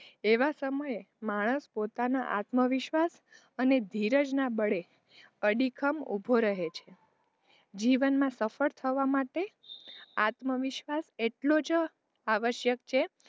એવાં સમયે માણસ પોતાનો આત્મવિશ્વાસ, અને ધીરજ ના બળે અડીખમ ઊભો રહે છે જીવનમાં સફળ થવા માટે આત્મવિશ્વાસ એટલો જ આવશ્યક છે,